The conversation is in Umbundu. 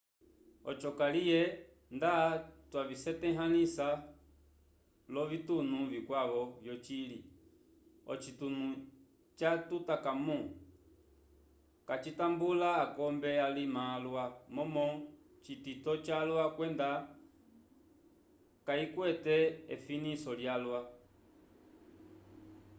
oco kaliye nda twavisetahãlisa l'ovitunu vikwavo vyocili ocitunu ca tutankhamun kacitambula akombe alima alwa momo citito calwa kwenda kayikwete efiniso lyalwa